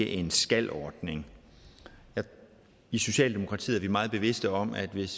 en skal ordning i socialdemokratiet er vi meget bevidste om at hvis